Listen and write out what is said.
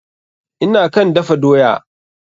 Ina kan dafa doya.